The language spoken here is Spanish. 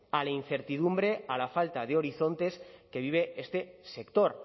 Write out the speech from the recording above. a la incertidumbre a la falta de horizontes que vive este sector